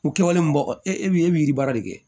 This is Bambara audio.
O kɛwale mun bɔ e bɛ e bɛ yiri baara de kɛ